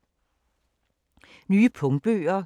Nye punktbøger